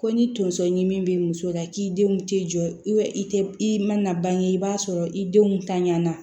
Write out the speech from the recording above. Ko ni tonso ɲimi be muso la k'i denw tɛ jɔ i te i ma na bange i b'a sɔrɔ i denw tanɲanna